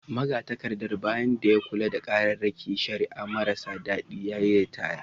Magatakardar, bayan da ya kula da kararrakin shari’a marasa adadi, ya yi ritaya